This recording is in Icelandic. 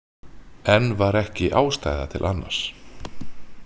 Enn var ekki ástæða til annars.